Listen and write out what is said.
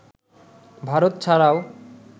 ভারত ছাড়াও